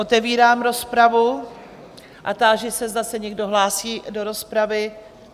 Otevírám rozpravu a táži se, zda se někdo hlásí do rozpravy?